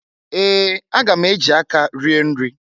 Ee! Aga m eji aka rie nri.